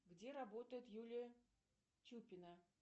где работает юлия чупина